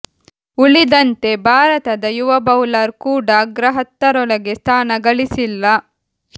ಉಳಿದಂತೆ ಭಾರತದ ಯಾವ ಬೌಲರ್ ಕೂಡಾ ಅಗ್ರ ಹತ್ತರೊಳಗೆ ಸ್ಥಾನ ಗಳಿಸಿಲ್ಲ